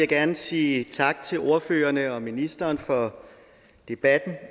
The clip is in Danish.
gerne sige tak til ordførerne og ministeren for debatten